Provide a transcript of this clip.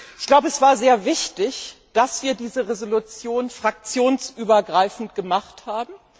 Ich glaube, es war sehr wichtig, dass wir diese Resolution fraktionsübergreifend gemacht haben.